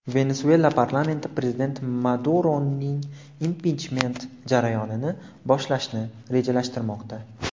Venesuela parlamenti prezident Maduroning impichment jarayonini boshlashni rejalashtirmoqda.